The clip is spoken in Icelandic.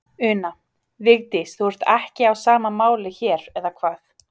Una: Vigdís, þú ert ekki á sama máli hér, eða hvað?